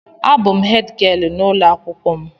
A bụ hèdgịelu n'ụlọ akwụkwọ m.